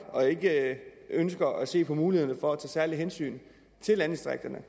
og ikke ønsker at se på mulighederne for at tage særlige hensyn til landdistrikterne